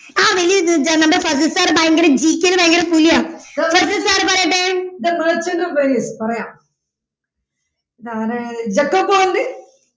ആ വലിയ അഹ് number ഫസിൽ sir ഭയങ്കര GK ൽ ഭയങ്കര പുലിയാണ് ഫസിൽ sir പറയട്ടെ പറയാം അതാരാണ് ജെക്കോ പൗണ്ട്